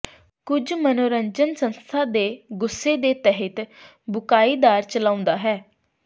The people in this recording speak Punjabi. ਕੁਝ ਮਨੋਰੰਜਨ ਸੰਸਥਾ ਦੇ ਗੁੱਸੇ ਦੇ ਤਹਿਤ ਬੁਕ੍ਹਾਈਦਾਰ ਚਲਾਉਂਦਾ ਹੈ